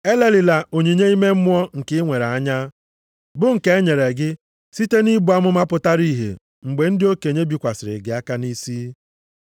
Elelịla onyinye ime mmụọ nke i nwere anya, bụ nke e nyere gị site nʼibu amụma pụtara ihe mgbe ndị okenye bikwasịrị gị aka nʼisi.